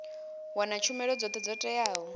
wana tshumelo dzothe dzo teaho